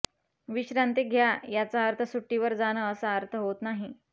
विश्रांती घ्या याचा अर्थ सुट्टीवर जाणं असा अर्थ होत नाही